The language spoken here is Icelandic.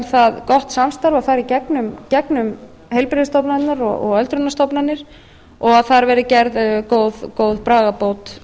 það gott samstarf að fara í gegnum heilbrigðisstofnanirnar og öldrunarstofnanir og að þar verði gerð góð bragarbót